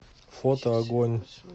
фото агонь